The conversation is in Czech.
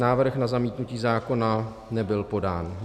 Návrh na zamítnutí zákona nebyl podán.